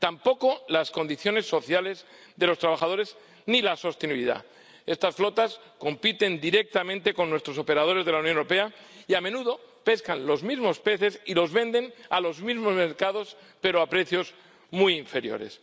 Tampoco las condiciones sociales de los trabajadores ni la sostenibilidad. Estas flotas compiten directamente con nuestros operadores de la Unión Europea y, a menudo, pescan los mismos peces y los venden a los mismos mercados, pero a precios muy inferiores.